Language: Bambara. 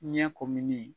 Ɲɛ kumuni